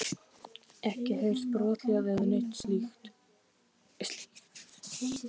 Ekki heyrt brothljóð eða neitt slíkt?